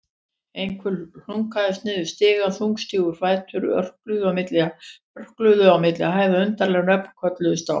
Einhver hlunkaðist niður stiga, þungstígir fætur örkuðu á milli hæða, undarleg nöfn kölluðust á.